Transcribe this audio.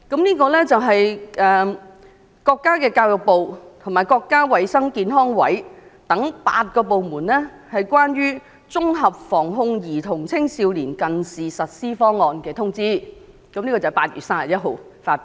原來這是國家教育部和國家衞生健康委員會等8個部門關於"綜合防控兒童青少年近視實施方案"的通知，在今年8月31日發表。